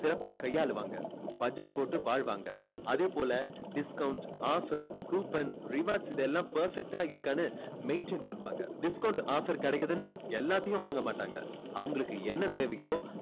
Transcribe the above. சிறப்பா கையாளுவாங்க. budget போட்டு வாழ்வாங்க அதேபோல discounts offer coupon rewards இதெல்லாமே perfect டா இருக்கான்னு maintain பண்ணுவாங்க discount offer கிடைக்குதுன்னு எல்லாத்தையும் வாங்க மாட்டாங்க. அவங்களுக்கு என்ன தேவையோ